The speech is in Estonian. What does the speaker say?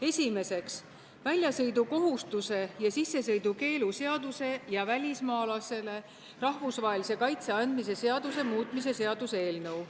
Esiteks, väljasõidukohustuse ja sissesõidukeelu seaduse ja välismaalasele rahvusvahelise kaitse andmise seaduse muutmise seaduse eelnõu.